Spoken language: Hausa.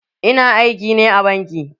Ina aiki ne a banki.